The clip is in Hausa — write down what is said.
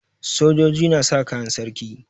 Sojoji na sa kayan sarki.